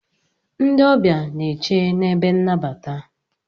Ndị ọbịa n'eche n'ebe nnabata.